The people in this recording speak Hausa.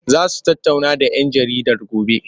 Za su tattauna da 'yan jaridar gobe?